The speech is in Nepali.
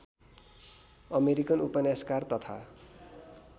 अमेरिकन उपन्यासकार तथा